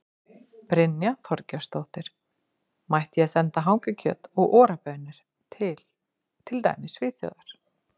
Brynja Þorgeirsdóttir: Mætti ég senda hangikjöt og Ora baunir til, til dæmis Svíþjóðar?